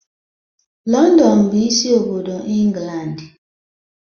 London bụ isi obodo England.